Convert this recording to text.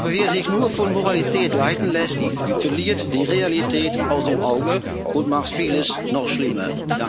Aber wer sich nur von Moralität leiten lässt, verliert die Realität aus dem Auge und macht vieles noch schlimmer.